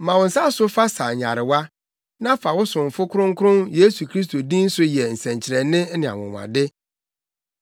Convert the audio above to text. Ma wo nsa so fa sa nyarewa, na fa wo somfo Kronkron Yesu Kristo din so yɛ nsɛnkyerɛnne ne anwonwade.”